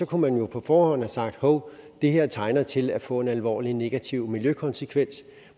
kunne man jo på forhånd have sagt hov det her tegner til at få en alvorlig negativ miljøkonsekvens